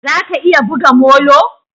Za ka iya buga molo?